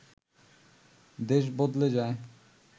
দেশ বদলে যায়